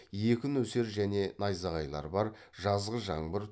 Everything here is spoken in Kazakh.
екі нөсер және найзағайлар бар жазғы жаңбыр